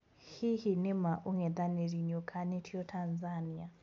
Hihi, ni maa ung'ethaniri niũkanitio Tanzania?